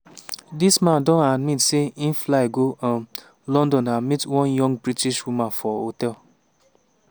dis man don admit say e fly go um london and meet one young british woman for hotel.